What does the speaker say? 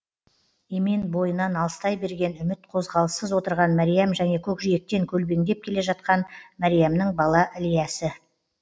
емен бойынан алыстай берген үміт қозғалыссыз отырған мәриям және көкжиектен көлбеңдеп келе жатқан мәриямның бала ілиясы